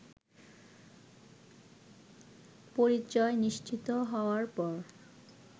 পরিচয় নিশ্চিত হওয়ার পর